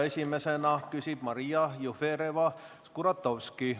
Esimesena küsib Maria Jufereva-Skuratovski.